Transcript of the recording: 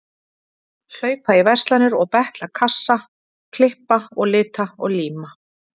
Hlaupa í verslanir og betla kassa, klippa og lita og líma.